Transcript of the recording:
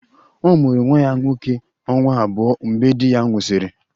Ọ mụrụ nwa ya nwoke ọnwa abụọ mgbe di ya nwụsịrị